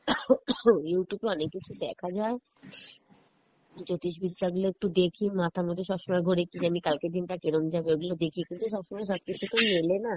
Youtube এ অনেক কিছু দেখা যায় জ্যোতিষ বিদ্যা গুলো একটু দেখি মাথার মধ্যে সবসমই ঘোরে কী জানি কালকের দিন টা কিরম যাবে, ওগুলো দেখি কিন্তু সবসময়ই সবকিছু তো মেলে না